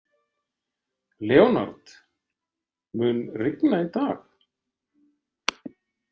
Leonard, mun rigna í dag?